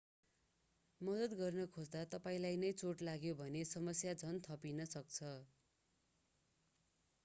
मद्दत गर्न खोज्दा तपाईंलाई नै चोट लाग्यो भने समस्या झन् थपिन सक्छ